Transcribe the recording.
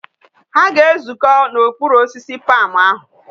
Ha ga ezuko na okpuru osisi palm ahu